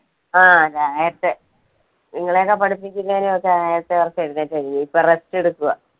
ആ നേരത്തെ നിങ്ങളെ ഒക്കെ പഠിപ്പിച്ച് ഇങ്ങനെ ഒക്കെ എഴുന്നേറ്റതല്ലെ, ഇപ്പൊ rest എടുക്കുവാ.